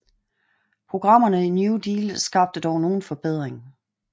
Programmerne i New Deal skabte dog nogen forbedring